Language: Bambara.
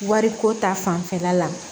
Wariko ta fanfɛla la